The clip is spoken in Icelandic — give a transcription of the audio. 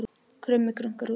Krummi krunkar úti